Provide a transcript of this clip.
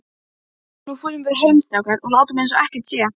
Nú förum við heim, strákar, og látum einsog ekkert sé.